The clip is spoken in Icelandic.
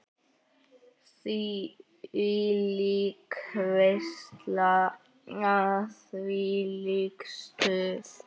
Þvílík veisla, þvílíkt stuð.